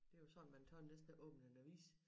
Det er jo sådan man tør næsten ikke åbne en avis